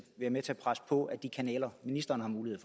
at presse på ad de kanaler ministeren har mulighed